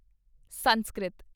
Sanskrit